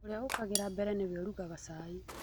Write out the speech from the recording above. Ũrĩa ũkĩraga mbele nĩwe ũrugaga cai.